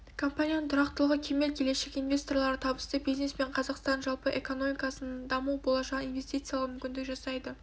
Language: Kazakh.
компанияның тұрақтылығы кемел келешегі инвесторларға табысты бизнес пен қазақстанның жалпы экономикасының даму болашағын инвестициялауға мүмкіндік жасайды